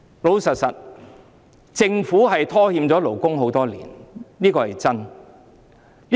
老實說，政府拖欠了勞工多年，這是事實。